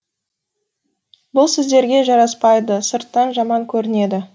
бұл сіздерге жарасапайды сырттан жаман көрінеді